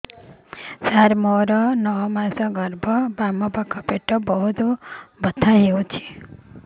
ସାର ମୋର ନଅ ମାସ ଗର୍ଭ ବାମପାଖ ପେଟ ବହୁତ ବଥା ହଉଚି